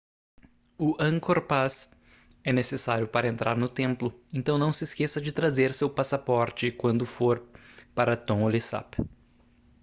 o angkor pass é necessário para entrar no templo então não se esqueça de trazer seu passaporte quando for para tonle sap